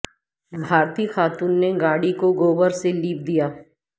بھارتی خاتون نے گاڑی کو گوبر سے لیپ دیا